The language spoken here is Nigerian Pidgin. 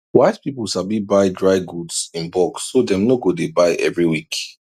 wise people sabi buy dry goods in bulk so dem no go dey buy every week